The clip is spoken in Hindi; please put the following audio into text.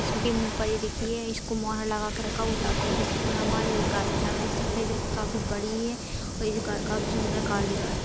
इसके मुँह पर ये देखिए इसको मोहर लगा कर रखा हुआ ताकि ये किसी को ना मारे ये गाय की आँख देख सकते हैं जोकि काफी बड़ी है और ये जो गाय काफी सुन्दर काली गाय है।